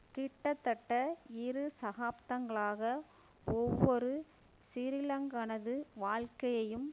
கிட்டத்தட்ட இரு சதசாப்தங்களாக ஒவ்வொரு சிறிலங்கனது வாழ்க்கையையும்